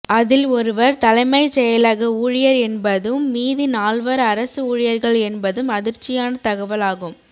அதில் ஒருவர் தலைமைச் செயலக ஊழியர் என்பதும் மீதி நால்வர் அரசு ஊழியர்கள் என்பதும் அதிர்ச்சியான தகவல் ஆகும்